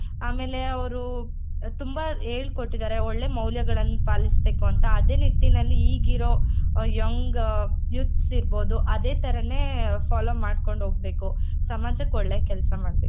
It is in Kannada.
ಆಮೇಲೆ ಅವ್ರು ತುಂಬಾ ಹೇಳ್ಕೊಟ್ಟಿದಾರೆ ಒಳ್ಳೆ ಮೌಲ್ಯಗಳನ್ನ ಪಾಲಿಸಬೇಕು ಅಂತ ಅದೇ ರೀತಿನಲ್ಲಿ ಈಗಿರೋ young youths ಇರ್ಬೊದು ಅದೇ ತರಾನೆ follow ಮಾಡ್ಕೋಂಡ್ ಹೋಗ್ಬೇಕು ಸಮಾಜಕ್ಕೆ ಒಳ್ಳೆ ಕೆಲ್ಸ ಮಾಡ್ಬೇಕು.